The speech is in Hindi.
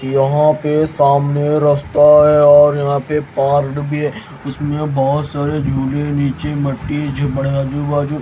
यहां पे सामने रस्ता है और यहां पे पार्ड भी है उसमें बहोत सारे झूले नीचे मिट्टी पड़ बडे़ आजू बाजू--